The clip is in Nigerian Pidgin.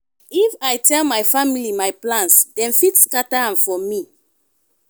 if i tell my family my plans dem fit scatter am for me.